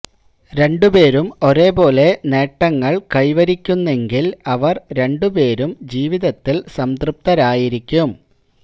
രണ്ടുപേരും ഒരേപോലെ നേട്ടങ്ങള് കൈവരിക്കുന്നെ ങ്കില് അവര് രണ്ടു പേരും ജീവിതത്തില് സംതൃപ്തരായിരിക്കും